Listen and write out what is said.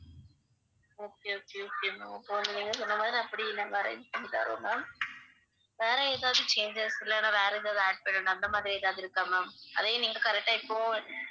okay okay okay ma'am இப்ப வந்து நீங்க சொன்ன மாதிரி அப்படி நாங்க arrange பண்ணி தறோம் ma'am வேற எதாவது changes இல்லனா வேற எதாவது add பண்ணனும் அந்த மாதிரி எதாவது இருக்கா ma'am அதையும் நீங்க correct ஆ இப்பவே